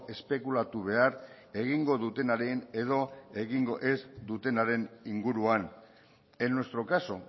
espekulatu behar egingo dutenaren edo egingo ez dutenaren inguruan en nuestro caso